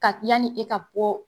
Ka yanni e ka bɔ